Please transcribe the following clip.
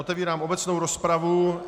Otevírám obecnou rozpravu.